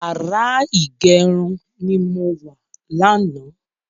Yàrá ìgẹrun ni mo wà lánàá